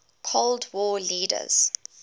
cold war leaders